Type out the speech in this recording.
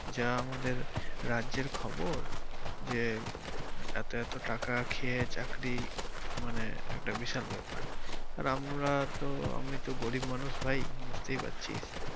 যা আমাদের রাজ্যের খবর যে এতো এতো টাকা খেয়ে চাকরি মানে একটা বিশাল ব্যাপার আর আমরা তো আমি তো গরিব মানুষ ভাই বুঝতে পারছিস।